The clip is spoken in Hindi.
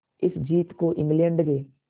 इस जीत को इंग्लैंड के